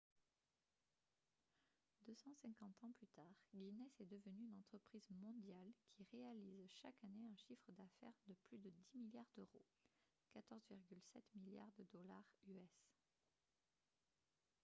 250 ans plus tard guinness est devenue une entreprise mondiale qui réalise chaque année un chiffre d'affaires de plus de 10 milliards d'euros 14,7 milliards de dollars us